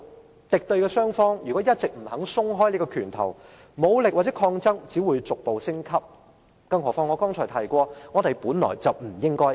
如果敵對雙方一直不肯鬆開拳頭，武力或抗爭只會逐步升級，何況我剛才提過，我們本來不應是敵人。